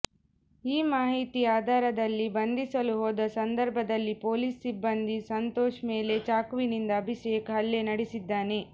ಈ ಮಾಹಿತಿ ಆಧಾರದಲ್ಲಿ ಬಂಧಿಸಲು ಹೋದ ಸಂದರ್ಭದಲ್ಲಿ ಪೊಲೀಸ್ ಸಿಬ್ಬಂದಿ ಸಂತೋಷ್ ಮೇಲೆ ಚಾಕುವಿನಿಂದ ಅಭಿಷೇಕ್ ಹಲ್ಲೆ ನಡೆಸಿದ್ದಾನೆ